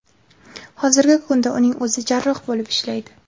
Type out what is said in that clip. Hozirgi kunda uning o‘zi jarroh bo‘lib ishlaydi.